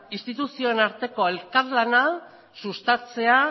instituzioen arteko elkarlana sustatzea